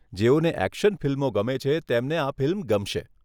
જેઓને એક્શન ફિલ્મો ગમે છે, તેમને આ ફિલ્મ ગમશે.